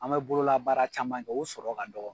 An mɛ bolola baara caman kɛ o sɔrɔ ka dɔgɔ.